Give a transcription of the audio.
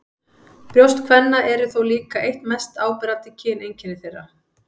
Brjóst kvenna eru þó líka eitt mest áberandi kyneinkenni þeirra.